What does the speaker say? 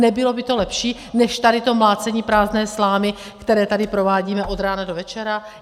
Nebylo by to lepší než tady to mlácení prázdné slámy, které tady provádíme od rána do večera?